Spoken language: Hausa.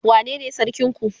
wane ne sarkin ku?